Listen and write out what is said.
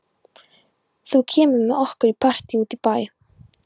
Þú kemur með okkur í partí út í bæ.